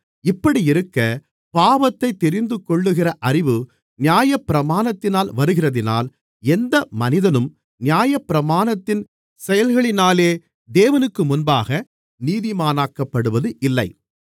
இப்படியிருக்க பாவத்தைத் தெரிந்துகொள்ளுகிற அறிவு நியாயப்பிரமாணத்தினால் வருகிறதினால் எந்த மனிதனும் நியாயப்பிரமாணத்தின் செயல்களினாலே தேவனுக்குமுன்பாக நீதிமானாக்கப்படுவது இல்லை